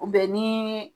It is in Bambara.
ni